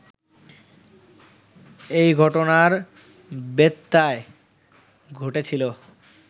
এই ঘটনার ব্যত্যয় ঘটেছিল